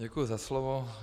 Děkuju za slovo.